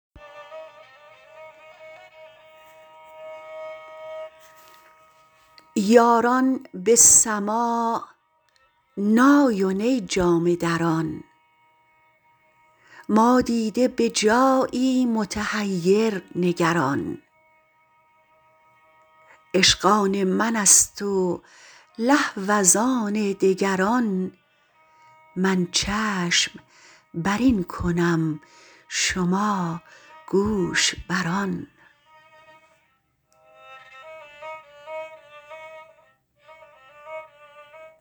یاران به سماع نای و نی جامه دران ما دیده به جایی متحیر نگران عشق آن منست و لهو از آن دگران من چشم برین کنم شما گوش بر آن